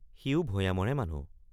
সিও ভয়ামৰে মানুহ।